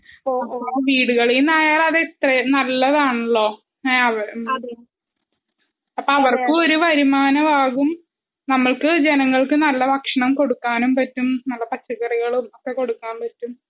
വീടുകളിന്നായാല് അത് അത്രേം നല്ലതാണല്ലോ? ഏ അ അപ്പൊ അവർക്കും ഒരു വരുമാനമാകും. നമ്മൾക്ക് ജനങൾക്ക് നല്ല ഭക്ഷണം കൊടുക്കാനും പറ്റും. നല്ല പച്ചക്കറികളും കൊടുക്കാൻ പാട്ടും.